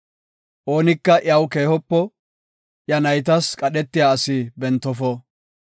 Oonika iyaw keehopo; iya naytas qadhetiya asi bentofo.